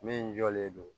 Min jɔlen don